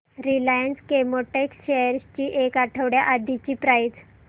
Reliance Chemotex shares ची एक आठवड्या आधीची प्राइस